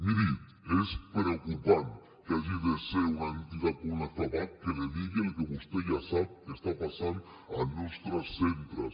miri és preocupant que hagi de ser una entitat com la fapac qui li digui el que vostè ja sap que està passant als nostres centres